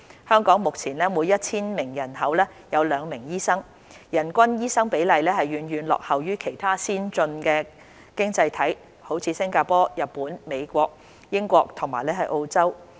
香港目前每 1,000 名人口有兩名醫生，人均醫生比例遠遠落後於其他先進經濟體如新加坡、日本、美國、英國和澳洲。